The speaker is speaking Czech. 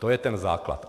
To je ten základ.